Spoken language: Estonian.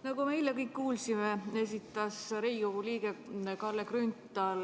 Nagu me kõik eile kuulsime, esitas Riigikogu liige Kalle Grünthal